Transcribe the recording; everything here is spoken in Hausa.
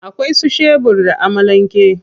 Akwai su shebur da amalan ke.